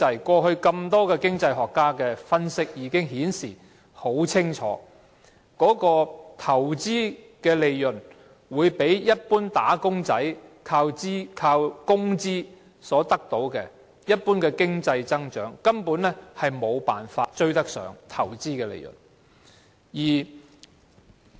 過去很多經濟學家的分析清楚顯示，投資利潤會比一般"打工仔"靠工資所得的多，一般經濟增長根本沒法追上投資利潤。